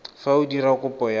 fa o dira kopo ya